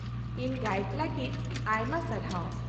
-ᱤᱧ ᱜᱟᱭᱤᱰ ᱞᱟᱜᱤᱫ ᱟᱭᱢᱟ ᱥᱟᱨᱦᱟᱣ ᱾